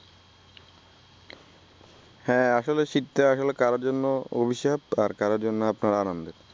হ্যা আসলেই শীতটা আসলে কারো জন্য অভিশাপ আর কারো জন্য আপনার আনন্দের